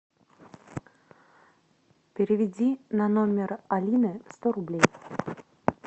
переведи на номер алины сто рублей